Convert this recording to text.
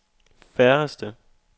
færreste